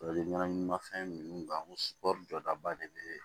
ɲɛnaminimafɛn nunnu kari jɔdaba de bee